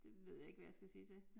Det ved jeg ikke hvad jeg skal sige til